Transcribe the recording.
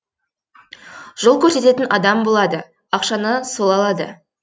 жол көрсететін адам болады ақшаны сол алады